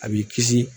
A b'i kisi